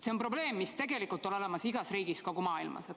See on probleem, mis tegelikult on olemas igas riigis kogu maailmas.